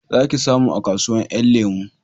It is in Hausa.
Za ki samu a kasuwan 'yan lemo